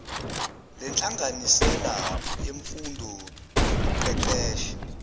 lenhlanganisela yemfundo nokuqeqesha